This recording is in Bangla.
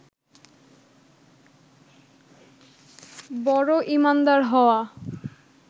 বড় ঈমানদার হওয়া